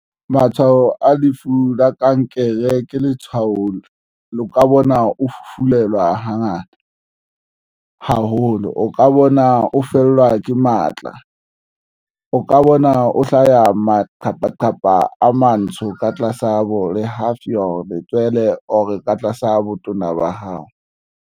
Matshwao a lefu la kankere ke letsholo le o ka bona o fufulelwa hangata haholo. O ka bona o fellwa ke matla, o ka bona o hlaya maqhepaqhepa a matsho ka tlasa bo le haufi ho letswele or ka tlasa botona ba hao.